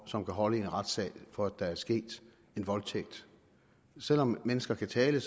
som kan holde i en retssag for at der er sket en voldtægt selv om mennesker kan tale